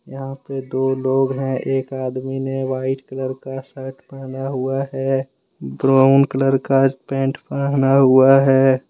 यहां पे दो लोग है एक आदमी ने वाइट कलर का शर्ट पहना हुआ है ब्राउन कलर का पैंट पहना हुआ है।